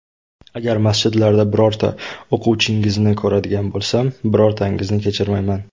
Agar masjidlarda birorta o‘quvchingizni ko‘radigan bo‘lsam, birortangizni kechirmayman.